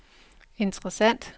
interessant